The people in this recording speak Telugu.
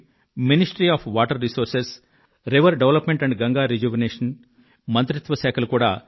షిప్పింగ్ శాఖ జల వనరుల శాఖ నదుల వికాసం మరియు గంగానది శుద్ధి శాఖ